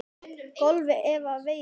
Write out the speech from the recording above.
golfi eða veiði.